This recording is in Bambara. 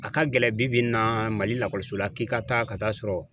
A ka gɛlɛn bi bi in na Mali k'i ka taa ka taa sɔrɔ